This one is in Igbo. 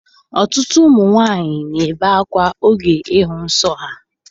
Ọtụtụ ụmụ nwaanyị na-ebe akwa oge ịhụ nsọ ha